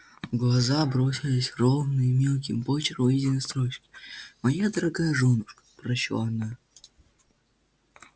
в глаза бросились ровные мелким почерком выведенные строчки моя дорогая жёнушка прочла она